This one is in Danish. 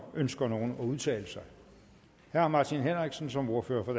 ønsker nogen at udtale sig herre martin henriksen som ordfører for